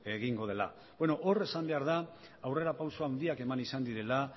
egingo dela beno hor esan behar da aurrerapauso handiak eman izan direla